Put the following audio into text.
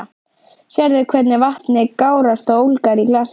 Sérðu hvernig vatnið gárast og ólgar í glasinu?